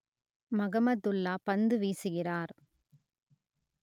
மகமதுல்லா பந்து வீசுகிறார்